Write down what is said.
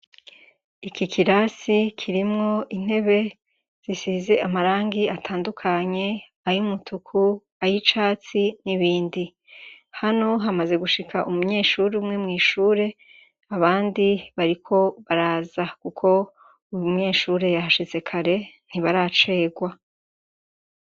Iki kirasi kirimwo intebe zisize amarangi atandukanye: ay'umutuku, ay'icatsi, n'ibindi. Hano hamaze gushika umunyeshure umwe mw'ishure abandi bariko baraza kuko uyu munyeshure yahashitse kare ntibaracerwa.